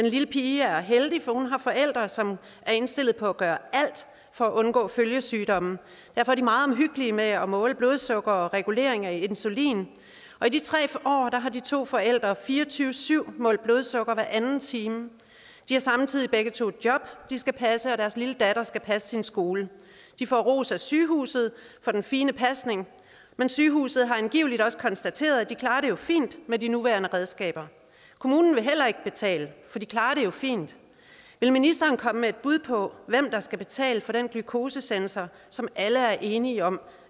lille pige er heldig for hun har forældre som er indstillet på at gøre alt for at undgå følgesygdomme derfor er de meget omhyggelige med at måle blodsukker og regulering af insulin i de tre år har de to forældre fire og tyve syv målt blodsukker hver anden time de har samtidig begge to job de skal passe og deres lille datter skal passe sin skole de får ros af sygehuset for den fine pasning men sygehuset har angiveligt også konstateret at de klarer det fint med de nuværende redskaber kommunen vil heller ikke betale for de klarer det jo fint vil ministeren komme med et bud på hvem der skal betale for den glukosesensor som alle er enige om